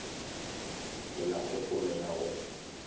ke na kgopolo ya go